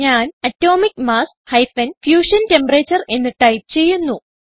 ഞാൻ atomic mass - fusion temperature എന്ന് type ചെയ്യുന്നു